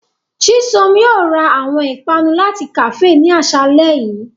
Chisom yóò ra awọn ipanu lati kafee ni aṣalẹ yii.